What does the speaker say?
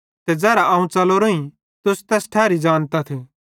ते ज़ेरां अवं च़लोरोईं तुस तैठेरी बत ज़ानतथ